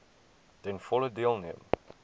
ten volle deelneem